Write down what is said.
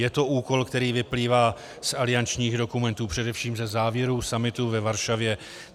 Je to úkol, který vyplývá z aliančních dokumentů, především ze závěrů summitu ve Varšavě.